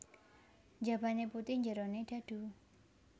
Njabane putih njerone dhadhu